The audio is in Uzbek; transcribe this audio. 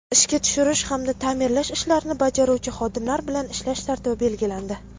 ishga tushirish hamda taʼmirlash ishlarini bajaruvchi xodimlar bilan ishlash tartibi belgilandi.